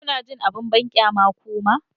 Kuna jin abin banƙyama kuma?